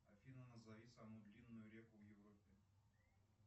афина назови самую длинную реку в европе